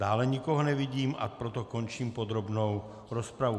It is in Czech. Dále nikoho nevidím, a proto končím podrobnou rozpravu.